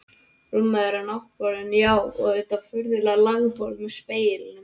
Rúmið þeirra, náttborðin, já, og þetta furðulega lágborð með speglunum.